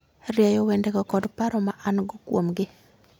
Rieyo wendego kod paro ma an - go kuomgi.